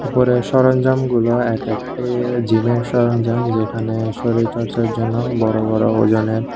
উপরের সরঞ্জামগুলো এক একটি আঃ জিমের সরঞ্জাম যেখানে শরীরচর্চার জন্য বড়ো বড়ো ওজনের--